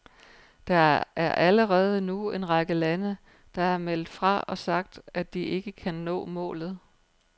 Der er allerede nu en række lande, der har meldt fra og sagt, at de ikke kan nå målet.